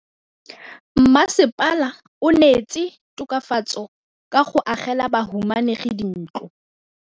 Mmasepala o neetse tokafatsô ka go agela bahumanegi dintlo.